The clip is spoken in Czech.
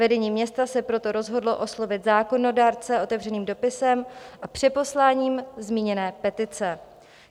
Vedení města se proto rozhodlo oslovit zákonodárce otevřeným dopisem a přeposláním zmíněné petice.